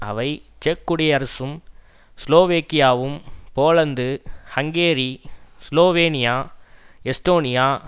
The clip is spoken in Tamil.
அவை செக் குடியரசும் ஸ்லோவாக்கியாவும் போலந்து ஹங்கேரி சுலோவேனியா எஸ்டோனியா